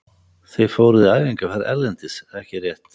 Þið fóruð í æfingaferð erlendis ekki rétt?